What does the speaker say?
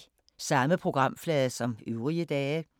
Samme programflade som øvrige dage